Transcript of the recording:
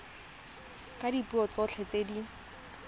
ka dipuo tsotlhe tse di